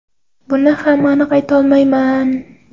Buni ham aniq ayta olmayman.